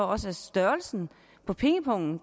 også er størrelsen af pengepungen